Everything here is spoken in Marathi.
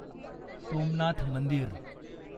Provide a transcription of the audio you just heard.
सोमनाथ मंदिर